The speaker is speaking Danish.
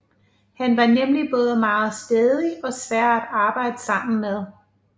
Han var nemlig både meget stædig og svær at arbejde sammen med